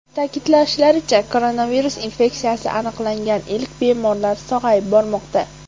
Ta’kidlashlaricha, koronavirus infeksiyasi aniqlangan ilk bemorlar sog‘ayib bormoqda .